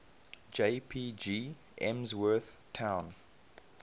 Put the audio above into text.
jpg emsworth town